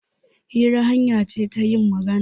Hira hanya ce ta yin magana.